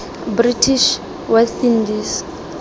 british west indies